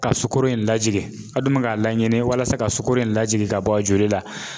Ka sukoro in lajigin, a dun bɛ k'a la ɲini walasa ka sukoro in lajigin ka bɔ a joli la .